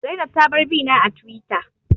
Zainab ta bar bina a Tiwita